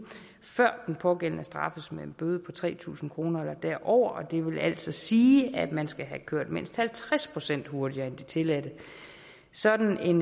før den pågældende straffes med en bøde på tre tusind kroner eller derover og det vil altså sige at man skal have kørt mindst halvtreds procent hurtigere end det tilladte sådan